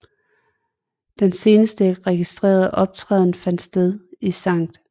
Den seneste registrerede optræden fandt sted i Skt